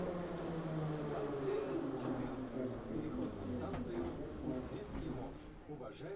включи кино страстное сердце неистовый бомбардир девятый сезон